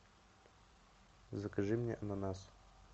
закажи мне ананас